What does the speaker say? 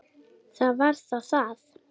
Það var þá það.